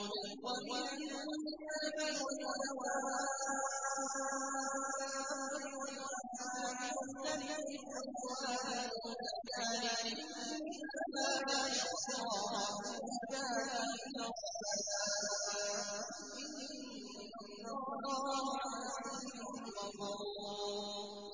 وَمِنَ النَّاسِ وَالدَّوَابِّ وَالْأَنْعَامِ مُخْتَلِفٌ أَلْوَانُهُ كَذَٰلِكَ ۗ إِنَّمَا يَخْشَى اللَّهَ مِنْ عِبَادِهِ الْعُلَمَاءُ ۗ إِنَّ اللَّهَ عَزِيزٌ غَفُورٌ